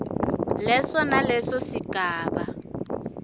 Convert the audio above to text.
leso naleso sigaba